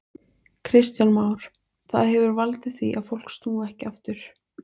Kristján Már: Það hefur valdið því að fólk snúi ekki aftur?